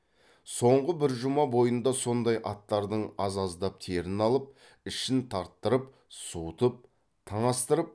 соңғы бір жұма бойында сондай аттардың аз аздап терін алып ішін тарттырып суытып таңастырып